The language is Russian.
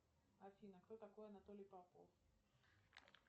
афина кто такой анатолий попов